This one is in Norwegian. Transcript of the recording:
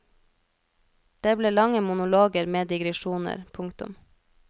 Det ble lange monologer med digresjoner. punktum